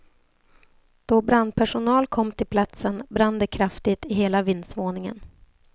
Då brandpersonal kom till platsen brann det kraftigt i hela vindsvåningen.